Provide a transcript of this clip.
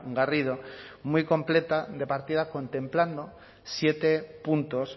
garrido muy completa de partida contemplando siete puntos